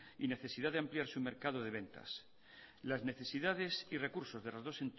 y necesidad de ampliar su mercado de ventas las necesidades y recursos de las dos